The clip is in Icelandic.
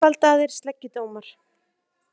Einfaldaðir sleggjudómar